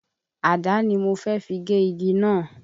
Àdá ni mo fẹ́ fi gé igi náà.